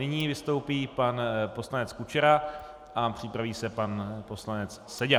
Nyní vystoupí pan poslanec Kučera a připraví se pan poslanec Seďa.